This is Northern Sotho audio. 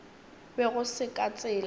be go se ka tsela